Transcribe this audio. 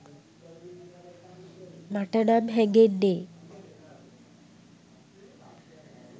මටනම් හැගෙන්නේ.